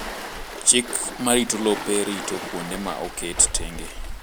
Chik ma rito lope rito kuonde ma oket tenge.